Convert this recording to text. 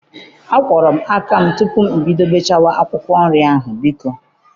Akwọrọ m aka tupu m bido bechawa akwụkwọ nri ahụ, biko.